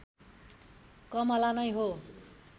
कमला नै हो